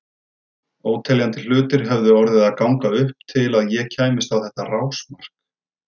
Óteljandi hlutir höfðu orðið að ganga upp til að ég kæmist á þetta rásmark.